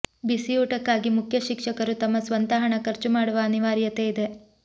ಬಿಸಿಯೂಟಕ್ಕಾಗಿ ಮುಖ್ಯಶಿಕ್ಷಕರು ತಮ್ಮ ಸ್ವಂತ ಹಣ ಖರ್ಚು ಮಾಡುವ ಅನಿವಾರ್ಯತೆ ಇದೆ